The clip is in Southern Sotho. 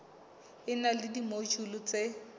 e na le dimojule tse